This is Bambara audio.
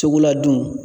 Tugula dun